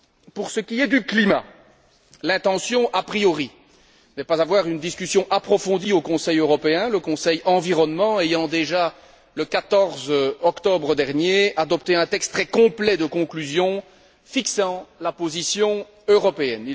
Pour ce qui est du climat, l'intention a priori n'est pas d'avoir une discussion approfondie au Conseil européen, le Conseil environnement ayant déjà, le 14 octobre dernier, adopté un texte très complet de conclusions fixant la position européenne.